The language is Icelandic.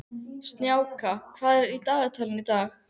Snjáka, hvað er í dagatalinu í dag?